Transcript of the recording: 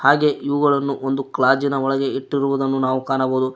ಹಾಗೆ ಇವುಗಳನ್ನು ಒಂದು ಕ್ಲಾಜಿನ ಒಳಗೆ ಇಟ್ಟಿರುವುದನ್ನು ನಾವು ಕಾಣಬಹುದು.